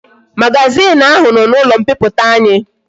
Magazin ahu no na ulo mpiputa anyi